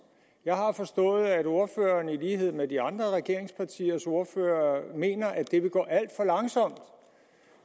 jeg har forstået at ordføreren i lighed med de andre regeringspartiers ordførere mener at det vil gå alt for langsomt